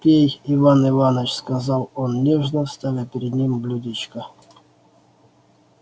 пей иван иваныч сказал он нежно ставя перед ним блюдечко